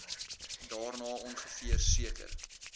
daarna ongeveer seker